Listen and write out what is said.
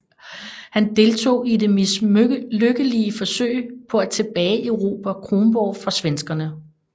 Han deltog i det mislykkelige forsøg på at tilbageerobre Kronborg fra svenskerne